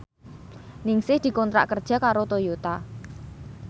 Ningsih dikontrak kerja karo Toyota